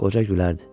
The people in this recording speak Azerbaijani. Qoca gülərdi.